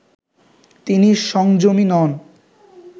তিনি সংযমী নন